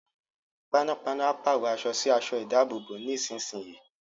Panápaná a pàrọ̀ aṣọ sí aṣọ ìdábòbò nísinsìnyí